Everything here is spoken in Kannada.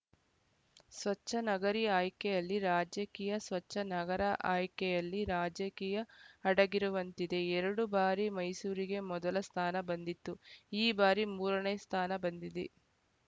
ಸ್ವಚ್ಛನಗರಿ ಆಯ್ಕೆಯಲ್ಲಿ ರಾಜಕೀಯ ಸ್ವಚ್ಛನಗರ ಆಯ್ಕೆಯಲ್ಲಿ ರಾಜಕೀಯ ಅಡಗಿರುವಂತಿದೆ ಎರಡು ಬಾರಿ ಮೈಸೂರಿಗೆ ಮೊದಲ ಸ್ಥಾನ ಬಂದಿತ್ತು ಈ ಬಾರಿ ಮೂರನೇ ಸ್ಥಾನ ಬಂದಿದೆ